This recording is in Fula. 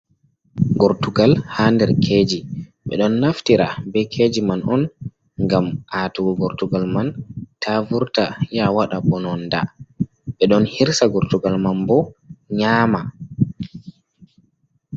Gortugal ha nder keji, ɓe ɗon naftira be keji man on ngam aatugo gortugal man ta vurta ya waɗa mbononda, ɓe ɗon hirsa gortugal man bo nyaama.